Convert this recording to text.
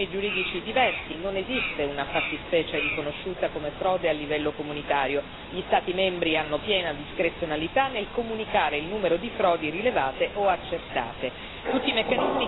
In Europa ci sono sistemi giuridici diversi, non esiste una fattispecie riconosciuta come frode a livello comunitario, gli Stati membri hanno piena discrezionalità nel comunicare il numero di frodi rilevate o accertate.